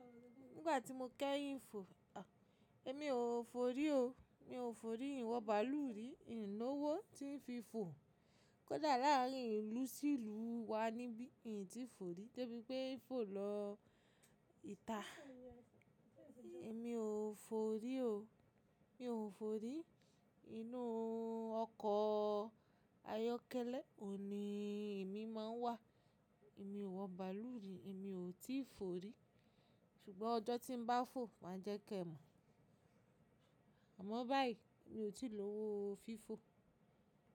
Nígbà tí mo kẹ́yìn fò, èmi ò forí o, mi ò forí, ìnwọ bàlù rí, ìn ló owó tí ń fi fò. Kódà láàárín ìlú sí ìlú wa níbí in tí forí dè bíi pé ń fò lọ ìta. Èmi ò forí o, mi ò forí. Inú ọkọ̀ ayọ́kẹ́lẹ́ òní emi máa ń wà. Èmi ò wọ bàálù rí, èmi ò tíì forí. Ṣùgbọ́n ọjọ́ tí ń bá fò máa jẹ́ kí ẹ mọ̀. Àmọ́ báyìí mi ò tíì lówó fi fò.